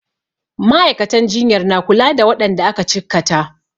Ma'aikatan jinyar na kula da waɗanda aka cikkata.